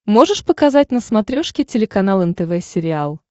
можешь показать на смотрешке телеканал нтв сериал